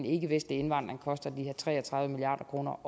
ikkevestlige indvandring koster de her tre og tredive milliard kroner